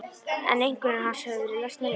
En einkunnir hans höfðu verið lesnar upp.